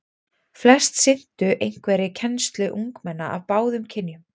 Flest sinntu einhverri kennslu ungmenna af báðum kynjum.